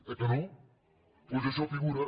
oi que no doncs això figura